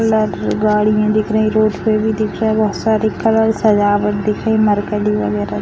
गाड़ियां दिख रही है रोड पे भी दिख रहा है बहुत सारी कलर सजावट दिख रही है मरकरी वगैरा --